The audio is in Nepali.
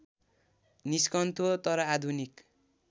निस्कन्थ्यो तर आधुनिक